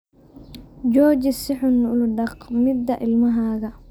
Jooji si xun ula dhaqmidda ilmahaaga.